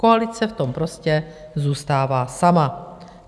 Koalice v tom prostě zůstává sama.